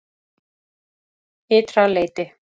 Ytra leyti